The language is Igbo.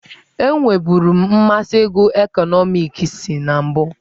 Enweburu m mmasị ịgụ ekọnọmiks na mbụ.